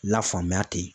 La faamuya te